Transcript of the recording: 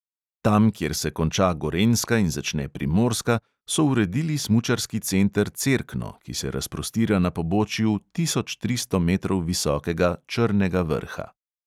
Tam, kjer se konča gorenjska in začne primorska, so uredili smučarski center cerkno, ki se razprostira na pobočju tisoč tristo metrov visokega črnega vrha.